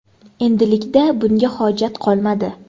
Endilikda bunga hojat qolmadi.